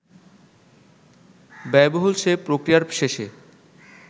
ব্যয়বহুল সে প্রক্রিয়ার শেষে